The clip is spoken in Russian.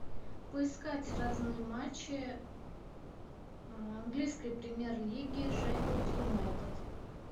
поискать разные матчи английской премьер лиги шеффилд юнайтед